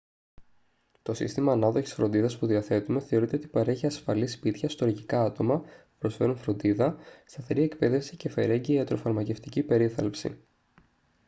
το σύστημα ανάδοχης φροντίδας που διαθέτουμε θεωρείται ότι παρέχει ασφαλή σπίτια στοργικά άτομα που προσφέρουν φροντίδα σταθερή εκπαίδευση και φερέγγυα ιατροφαρμακευτική περίθαλψη